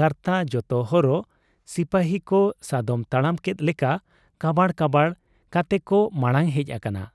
ᱜᱟᱨᱛᱟ ᱡᱚᱛᱚ ᱦᱚᱨᱚᱜ ᱥᱤᱯᱟᱹᱦᱤᱠᱚ ᱥᱟᱫᱚᱢ ᱛᱟᱲᱟᱢ ᱠᱮᱫ ᱞᱮᱠᱟ ᱠᱟᱲᱟᱵ ᱠᱟᱲᱟᱵ ᱠᱟᱛᱮᱠᱚ ᱢᱟᱬᱟᱝ ᱦᱮᱡ ᱟᱠᱟᱱᱟ ᱾